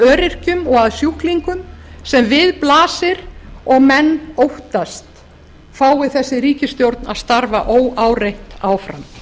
öryrkjum og að sjúklingum sem við blasir og menn óttast fái þessi ríkisstjórn að starfa óáreitt áfram